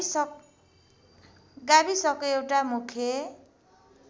गाविसको एउटा मुख्य